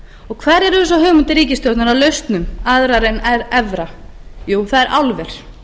og hverjar eru svo hugmyndir ríkisstjórnarinnar að lausnum aðrar en evra jú það er álver